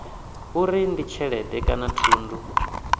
uri ndi tshelede kana thundu